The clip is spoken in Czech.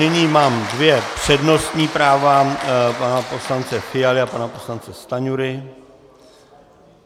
Nyní mám dvě přednostní práva - pana poslance Fialy a pana poslance Stanjury.